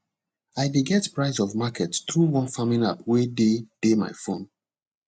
i dey get price of market through one farming app wey dey dey my phone